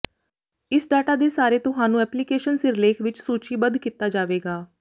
ਇਸ ਡਾਟਾ ਦੇ ਸਾਰੇ ਤੁਹਾਨੂੰ ਐਪਲੀਕੇਸ਼ਨ ਸਿਰਲੇਖ ਵਿੱਚ ਸੂਚੀਬੱਧ ਕੀਤਾ ਜਾਵੇਗਾ